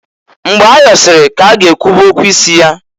Mgbe ayọsịrị ka a ga-ekwube okwu isi ya.